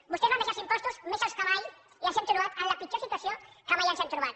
vostès van deixar els impostos més alts que mai i ens hem trobat en la pitjor situació que mai ens hem trobat